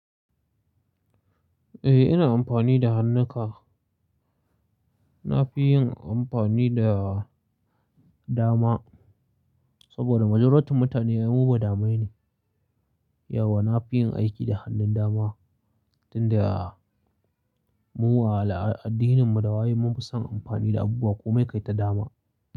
Eh, ina amfani da hannunka. Na fi yin amfani da dama saboda majuratun mutane mu ba damai ne. Yauwa na fi yin aiki da hannun dama, tunda mu wa al'adininmu da wayen mun fi son amfani da abubuwa komai kai ta dama.